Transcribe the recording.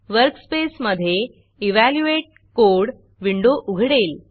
workspace मधे evaluate code evaluate code window उघडेल